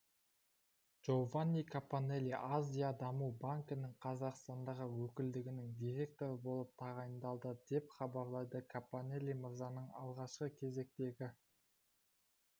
джованни капаннелли азия даму банкінің қазақстандағы өкілдігінің директоры болып тағайындалды деп хабарлайды капаннелли мырзаның алғашқы кезектегі